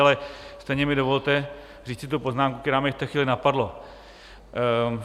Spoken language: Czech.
Ale stejně mi dovolte říci tu poznámku, která mě v té chvíli napadla.